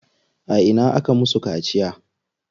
A ina aka musu kaciya?